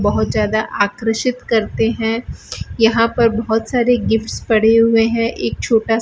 बहुत ज्यादा आकर्षित करते हैं यहां पर बहुत सारे गिफ्ट्स पड़े हुए हैं एक छोटा --